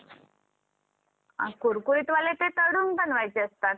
कुरकुरीत वाले ते तळून बनवायचे असतात